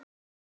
Erna og Jón.